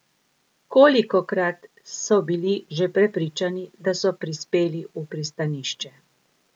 Kolikokrat so bili že prepričani, da so prispeli v pristanišče?